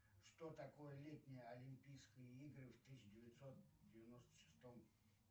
что такое летние олимпийские игры в тысяча девятьсот девяносто шестом